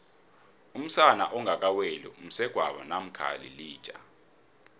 umsana ongaka weli msegwabo mamkha yilija